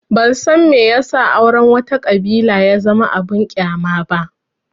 Ban san me ya sa auren wata ƙabila ya zama abin ƙyama ba